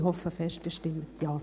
Ich hoffe fest, Sie stimmen Ja.